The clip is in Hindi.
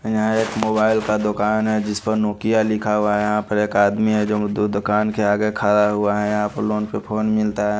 यहाँ एक मोबाइल का दूकान हैं जिस पर नोकिया लिखा हुआ है यहाँ पर एक आदमी हैं जो दू दुकान के आगे खड़ा हुआ है यहाँ पर लोन पर फ़ोन मिलता है।